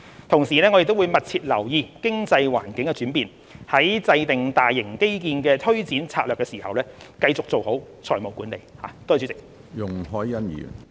同時，政府會密切留意經濟環境的轉變，在制訂大型基建的推展策略時，繼續做好財務管理。